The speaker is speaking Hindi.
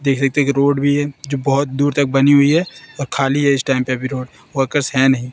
देख सकते हैं की रोड भी है जो बहोत दूर तक बनी हुईं हैं और खाली है इस टाइम पे अभी रोड वर्कर्स हैं नहीं।